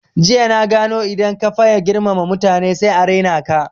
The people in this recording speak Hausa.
Jiya na gano idan ka faye girmama mutane sai a raina ka